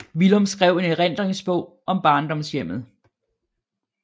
Villum skrev en erindringsbog om barndomshjemmet